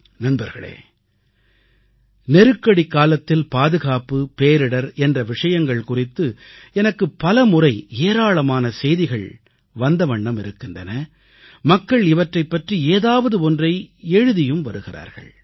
நல்வாழ்த்துகள் நல்வாழ்த்துகள் நல்வாழ்த்துகள் பேரிடர் என்ற விஷயங்கள் குறித்து எனக்கு பலமுறை ஏராளமான செய்திகள் வந்த வண்ணம் இருக்கின்றன மக்கள் இவற்றைப் பற்றி ஏதாவது ஒன்றை எழுதி வருகிறார்கள்